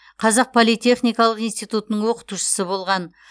қазақ политехникалық институтының оқытушысы болған